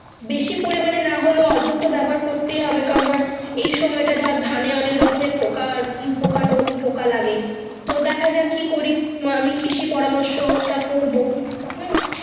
বেশি পড়ি মানে না হোলে অল্প তো ব্যবহার করতেও তো হবে কারণ ধরে এইসময় ধরে ধানে অনেকরকম এ পোকা কোটা তাও পোকা লাগে তো দেখা যাক কি করি আমি কৃষি পরামর্শ টা করবো হু।